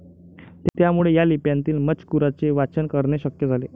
त्यामुळे ह्या लिप्यांतील मजकुराचे वाचन करणे शक्य झाले.